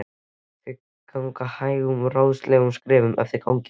Þau ganga hægum, ráðleysislegum skrefum eftir ganginum.